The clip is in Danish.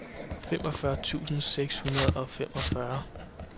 femogfyrre tusind seks hundrede og femogfyrre